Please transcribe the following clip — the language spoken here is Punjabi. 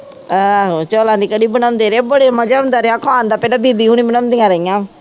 ਆਹ ਚੋਲਾ ਦੀ ਕੜੀ ਬਣਦੇ ਰਹੇ ਬੜੇ ਮਜਾ ਆਉਂਦਾ ਰਿਹਾ ਖਾਣ ਦਾ ਪਹਿਲਾ ਬੀਬੀ ਓਹਨਾ ਬਣਾਉਂਦੀਆਂ ਰਹੀਆਂ